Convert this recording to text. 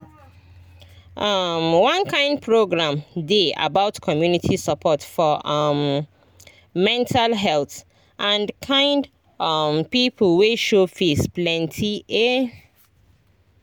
um one kind program dey about community support for um mental health and kind um people wey show face plenty ehh